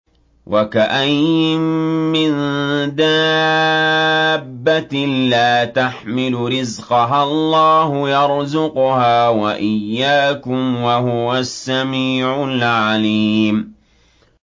وَكَأَيِّن مِّن دَابَّةٍ لَّا تَحْمِلُ رِزْقَهَا اللَّهُ يَرْزُقُهَا وَإِيَّاكُمْ ۚ وَهُوَ السَّمِيعُ الْعَلِيمُ